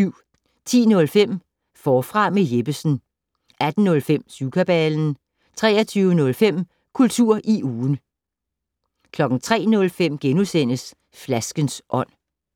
10:05: Forfra med Jeppesen 18:05: Syvkabalen 23:05: Kultur i ugen 03:05: Flaskens ånd *